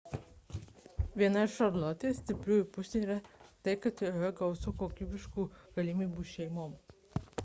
viena iš šarlotės šiaurės karolina stipriųjų pusių yra tai kad joje gausu kokybiškų galimybių šeimoms